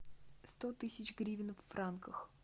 сто тысяч гривен в франках